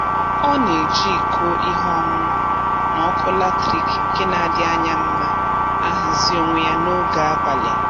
Ọ na-eji iko ihe ọṅụṅụ na ọkụ latriki nke na-adị anya mma ahazi onwe ya n'oge abalị